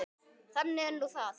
Þannig er nú það.